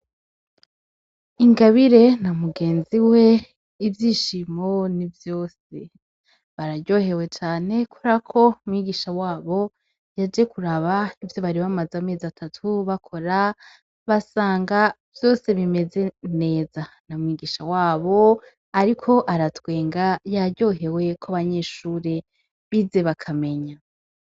Ingabire na mugenzi we ivyishimo ni vyose, bararyohewe cane kuberako mwigisha wabo yaje kuraba ivyo bari bamaze amezi atatu bakora basanga vyose bimeze neza, na mwigisha wabo ariko aratwenga yaryohewe ko abanyeshure bize bakamenya.